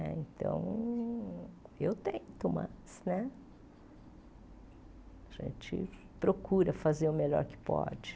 Né então, eu tento, mas né a gente procura fazer o melhor que pode.